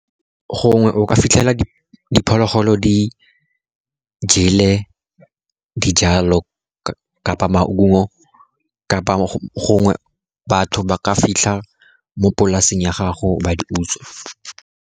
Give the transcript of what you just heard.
Gongwe o ka fitlhela diphologolo di jele dijalo kapa maungo, kapa gongwe batho ba ka fitlha mo polaseng ya gago ba di utswa.